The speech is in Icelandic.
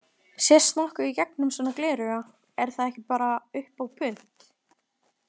Sést nokkuð í gegnum svona glerauga, er það ekki bara upp á punt?